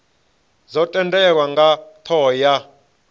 dzo tendelwa nga thoho ya